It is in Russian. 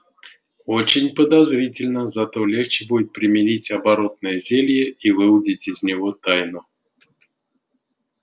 очень подозрительно зато легче будет примерить оборотное зелье и выудить из него тайну